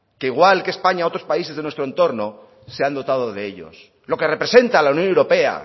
que igual que españa u otros países de nuestro entorno se han dotado de ellos lo que representa la unión europea